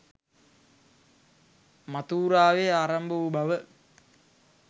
මථූරාවේ ආරම්භ වූ බව